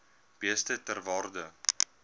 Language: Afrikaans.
beeste ter waarde